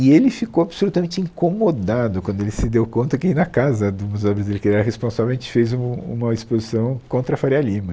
E ele ficou absolutamente incomodado quando ele se deu conta que na casa do museu que ele era responsável, a gente fez o uma exposição contra a Faria Lima.